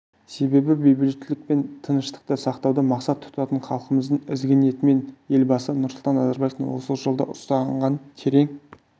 себебі бейбітшілік пен тыныштықты сақтауды мақсат тұтатын халқымыздың ізгі ниеті мен елбасы нұрсұлтан назарбаевтың осы жолда ұстанған терең